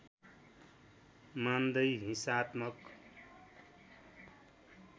मान्दै हिंसात्मक